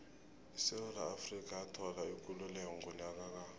isewula afrika yathola ikululeko ngonyaka ka